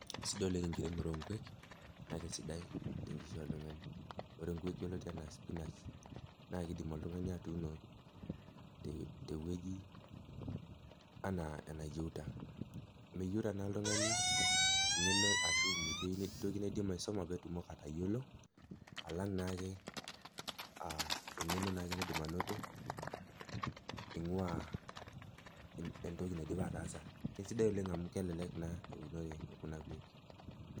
Sidai oleng enkiremore o nkuek, naa kesidai tenkishui oltung'ani, ore nkuek yioloti anaa spinach naa keidim oltung'ani atuuno tewueji anaa enayeuta, meyeuta naa oltung'ani eng'eno ashu metii toki naidim aisoma pee tumoki atayiolo alang naa ake eng'eno naidim ainoto eing'ua entoki naidipa ataasa sidai oleng naa amu kelelek naa ake eunori ekuna kuek.